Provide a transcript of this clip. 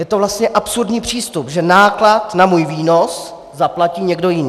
Je to vlastně absurdní přístup, že náklad na můj výnos zaplatí někdo jiný.